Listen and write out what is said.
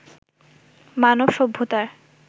মানব সভ্যতার